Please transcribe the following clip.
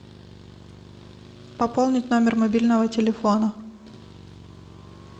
пополнить номер мобильного телефона